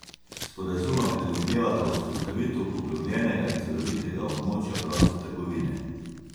Sporazuma predvidevata vzpostavitev poglobljenega in celovitega območja proste trgovine.